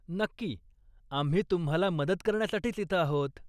नक्की, आम्ही तुम्हाला मदत करण्यासाठीच इथं आहोत.